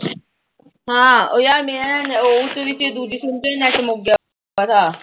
ਹਾਂ ਉਹ ਯਰ ਮੇਰਾ ਨਾ ਉਸ ਦੇ ਵਿੱਚ ਵੀ ਦੂਜੇ ਸਿਮ ਚ ਵੀ ਨੈੱਟ ਮੁੱਕ ਗਿਆ